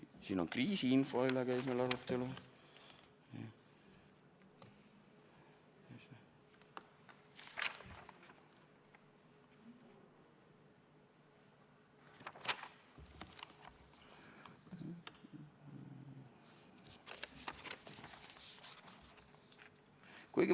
Siin on kriisiinfost, selle üle käis meil arutelu ...